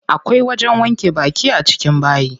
Akwai wajen wanke baki a cikin bayi.